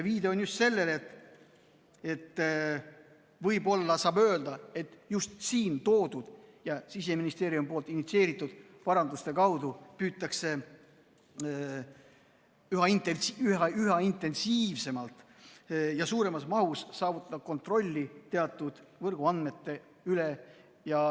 Viide on sellele, et võib-olla saab öelda, et just siin toodud ja Siseministeeriumist initsieeritud paranduste kaudu püütakse üha intensiivsemalt ja suuremas mahus saavutada kontrolli teatud võrguandmete üle.